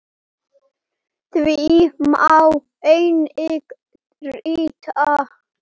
Því má einnig rita